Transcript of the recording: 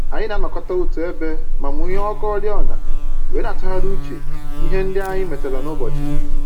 Anyị na-anọkọta otu ebe ma mụnye ọkụ oriọna wee na-atụgharị uche na ihe ndị anyị metara n'ụbọchị